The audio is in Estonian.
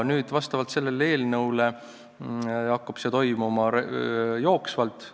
Nüüd, selle eelnõu kohaselt hakkab see toimuma jooksvalt.